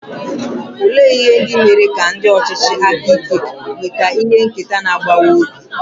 Olee ihe ndị mere ka ndị ọchịchị aka ike nweta ihe nketa na-agbawa obi?